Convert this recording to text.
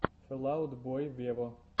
фэл аут бой вево